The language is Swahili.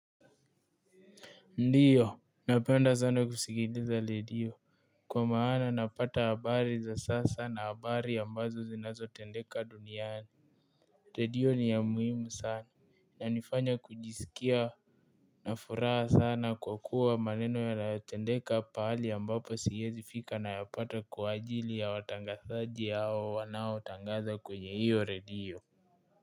Ndiyo napenda sana kusikiliza redio kwa maana, napata habari za sasa na habari ambazo zinazo tendeka duniani Redio ni ya muhimu sana, yanifanya kujisikia na furaha sana kwa kuwa maneno yanayotendeka pahali ambapo siwezii fika na yapata kwaajili ya watangazajii hao wanao tangaza kwenye hiyo redio.